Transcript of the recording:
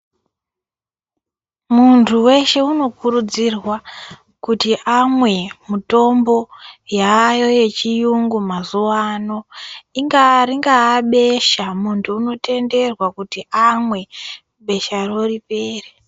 Munhu weshe unokurudzirwa kuti amwe mitombo yaayo yechiyungu mazuwa ano. Ringaabesha munhu unotenderwa kuti amwe besharo ripere.